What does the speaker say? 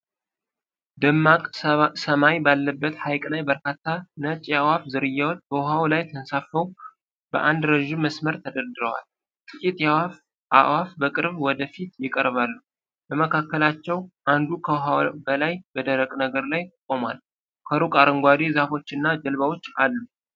ደማቅ ሰማይ ባለበት ሐይቅ ላይ በርካታ ነጭ የአዕዋፍ ዝርያዎች በውሃው ላይ ተንሳፍፈው በአንድ ረዥም መስመር ተደርድረዋል። ጥቂት አዕዋፍ በቅርብ ወደ ፊት ይቀርባሉ፤ ከመካከላቸው አንዱ ከውሃው በላይ በደረቅ ነገር ላይ ቆሟል። ከሩቅ አረንጓዴ ዛፎችና ጀልባዎች አሉ።